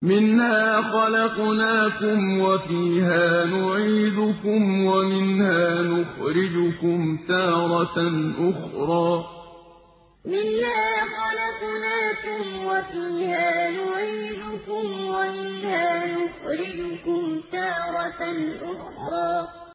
۞ مِنْهَا خَلَقْنَاكُمْ وَفِيهَا نُعِيدُكُمْ وَمِنْهَا نُخْرِجُكُمْ تَارَةً أُخْرَىٰ ۞ مِنْهَا خَلَقْنَاكُمْ وَفِيهَا نُعِيدُكُمْ وَمِنْهَا نُخْرِجُكُمْ تَارَةً أُخْرَىٰ